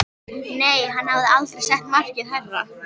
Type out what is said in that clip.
Nei, hann hafði aldrei sett markið hærra.